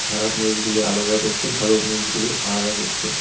খারাপ মরিচগুলি আলাদা করছে ভালো মরিচগুলি আলাদা করছে।